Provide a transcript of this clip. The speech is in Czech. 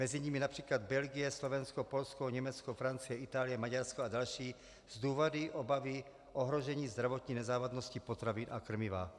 Mezi nimi například Belgie, Slovensko, Polsko, Německo, Francie, Itálie, Maďarsko a další z důvodu obavy ohrožení zdravotní nezávadnosti potravin a krmiva.